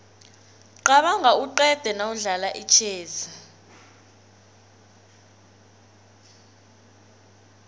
qabanga uqede nawudlala itjhezi